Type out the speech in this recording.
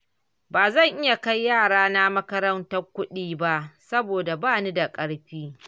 Ba zan iya kai yarana makarantar kuɗi ba, saboda bani da ƙarfi.